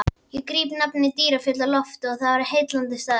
Ég gríp nafnið Dyrfjöll á lofti, það er heillandi staður.